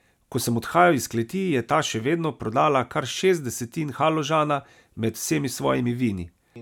Ko sem odhajal iz kleti, je ta še vedno prodala kar šest desetin haložana med vsemi svojimi vini.